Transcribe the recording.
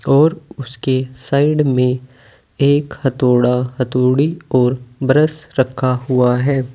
और उसके साइड में एक हथौड़ा हथौड़ी और ब्रश रखा हुआ है।